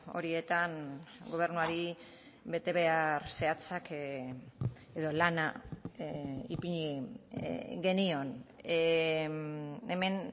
horietan gobernuari betebehar zehatzak edo lana ipini genion hemen